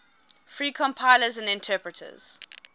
free compilers and interpreters